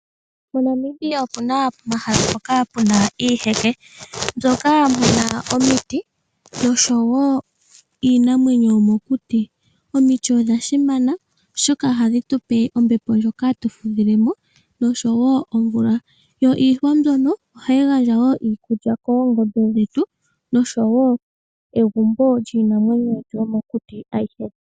MoNamibia omuna omahala ngoka puna iiheke mbyoka hayi kala omiti noshowoo iinamwenyo yomokuti. Omiti odha simana oshoka ohadhi tupe ombepo ndjoka hatu fudhilemo noshowoo omvula. Yo iihwa mbyono ohayi gandja wo iikulya koongombe dhetu noshowoo egumbo lyiinamwenyo yetu yomokuti aihe.